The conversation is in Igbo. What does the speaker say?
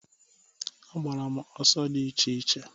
Agbara m ọsọ dị iche iche.